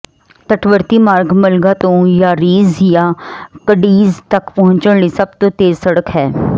ਤੱਟਵਰਤੀ ਮਾਰਗ ਮਲਗਾ ਤੋਂ ਯਾਰੀਜ਼ ਜਾਂ ਕਡੀਜ਼ ਤੱਕ ਪਹੁੰਚਣ ਲਈ ਸਭ ਤੋਂ ਤੇਜ਼ ਸੜਕ ਹੈ